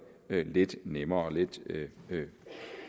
lidt nemmere og lidt